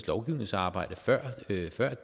lovgivningsarbejde før